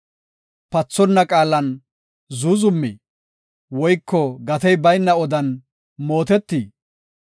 Pathonna qaalan zuuzumii? Woyko gatey bayna odan mootetii?